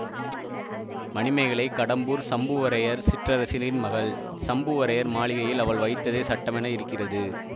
மணிமேகலை கடம்பூர் சம்புவரையர் சிற்றரசரின் மகள் சம்புவரையர் மாளிகையில் அவள் வைத்ததே சட்டமென இருக்கிறது